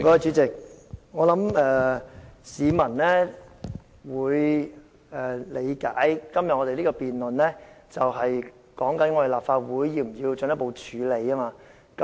主席，我想市民會理解我們今天辯論的是，立法會是否需要進一步處理有關事宜。